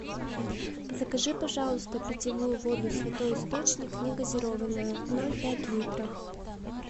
закажи пожалуйста питьевую воду святой источник негазированную ноль пять литров